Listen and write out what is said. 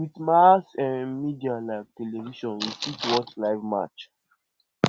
with mass um media like television we fit watch live match um